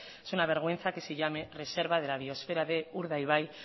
es una vergüenza que se llame reserva de la biosfera de urdaibai